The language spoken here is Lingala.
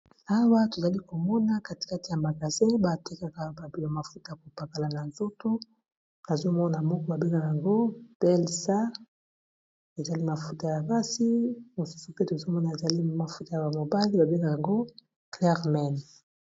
Awa tozali komona katikati ya makasin batekaka babelo mafuta ya kopakala na nzoto, bazomona moko ba bengaka ngo pelsa ezali mafuta ya kasi mosusu pe tozomona ezali mafuta ya bamobale babengaka ngo clermen.